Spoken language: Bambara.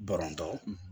Barontɔ